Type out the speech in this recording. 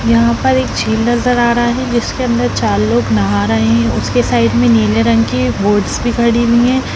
यहां पर एक झील नजर आ रहा है जिसके अंदर चार लोग नहा रहे हैं उसके साइड में नीले रंग की बोट्स दिख रही है।